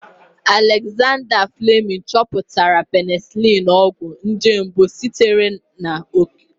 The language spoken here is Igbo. Alexander Fleming chọpụtara penisiliini, ọgwụ nje mbụ sitere n'okike.